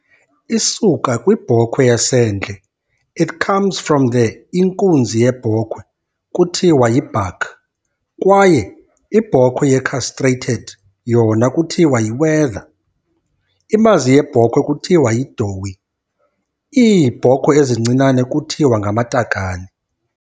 Isuka kwibhokhwe yasendle. It comes from the Inkunzi yebhokhwe kuthiwa yi"buck" kwaye ibhokwe yecastrated yona kuthiwa yi"whether", imazi yebhokhwe kuthiwa yi"doe", iibhokhwe ezincinane kuthiwa "ngamatakane".